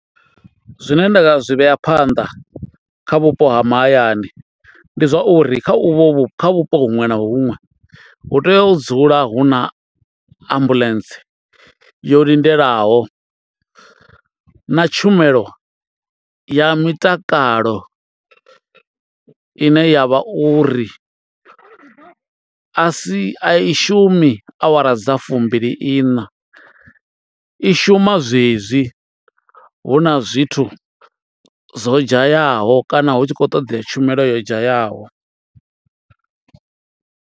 Zwine nda zwi vhea phanḓa kha vhupo ha mahayani ndi zwauri kha uvhu vhu kha vhupo huṅwe na huṅwe hu tea u dzula hu na ambuḽentse yo lindelaho na tshumelo ya mitakalo ine ya vha uri a si a i shumi awara dza fumbili iṋa i shuma zwezwi hu na zwithu zwo dzhayaho kana hu tshi khou ṱoḓea tshumelo yo dzhayaho.